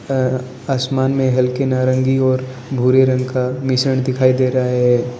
आसमान में हल्के नारंगी और भूरे रंग का मिश्रण दिखाई दे रहा है।